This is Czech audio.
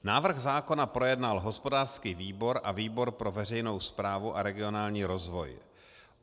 Návrh zákona projednal hospodářský výbor a výbor pro veřejnou správu a regionální rozvoj.